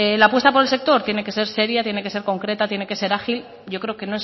la apuesta por el sector tiene que ser seria tiene que ser concreta tiene que ser ágil yo creo que